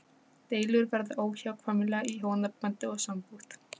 Deilur verða óhjákvæmilega í hjónabandi og sambúð.